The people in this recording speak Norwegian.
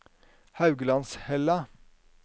Hauglandshella